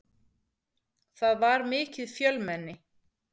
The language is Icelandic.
Það var mikið fjölmenni.